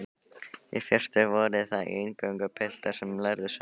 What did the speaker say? Í fyrstu voru það eingöngu piltar sem lærðu sund.